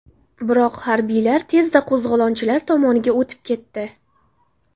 Biroq harbiylar tezda qo‘zg‘olonchilar tomoniga o‘tib ketdi.